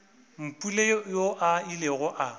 mpule yoo a ilego a